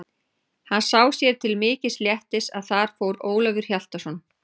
Hann sá sér til mikils léttis að þar fór Ólafur Hjaltason.